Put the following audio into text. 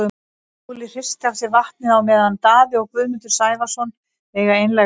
Óli hristir af sér vatnið á meðan Daði og Guðmundur Sævarsson eiga einlæga stund.